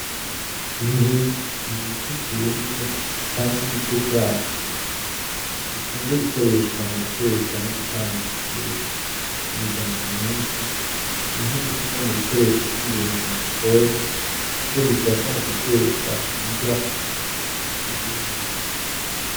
Inkwi ni ibiti vyumye canke ibice vyavyo bikunze gukoreshwa muguteka no gutanga ubushuhe , mumiryango myinshi nikwi nikimwe mubukoresho vyingenzi mugikoni kuko bifasha muguteka inrya nibindi.